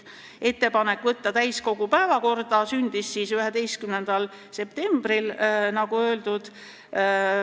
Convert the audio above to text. Ettepanek saata eelnõu täiskogu päevakorda sündis 11. septembril, nagu öeldud.